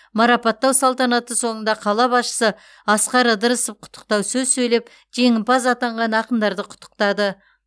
марапаттау салтанаты соңында қала басшысы асқар ыдырысов құттықтау сөз сөйлеп жеңімпаз атанған ақындарды құттықтады